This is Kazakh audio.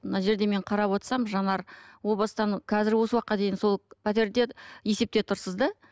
мына жерде мен қарап отырсам жанар о бастан қазір осы уақытқа дейін сол пәтерде есепте тұрсыз да